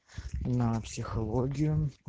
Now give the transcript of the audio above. на психологию